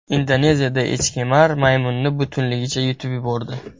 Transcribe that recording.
Indoneziyada echkemar maymunni butunligicha yutib yubordi .